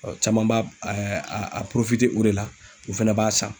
Ɔn caman b'a a o de la u fɛnɛ b'a san.